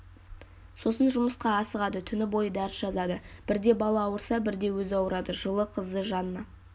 сосын жұмысқа асығады түні бойы дәріс жазады бірде бала ауырса бірде өзі ауырады жылы қызы жанна